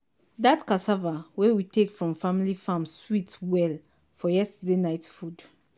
dat cassava wey we take from family farm sweet well for yesterday night food